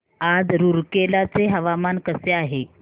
आज रूरकेला चे हवामान कसे आहे